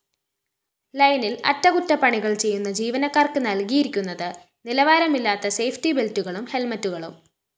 ലൈനില്‍ അറ്റകുറ്റപ്പണികള്‍ ചെയ്യുന്ന ജീവനക്കാര്‍ക്ക് നല്‍കിയിരിക്കുന്നത് നിലവാരമില്ലാത്ത സേഫ്റ്റിബെല്‍റ്റുകളും ഹെല്‍മറ്റുകളും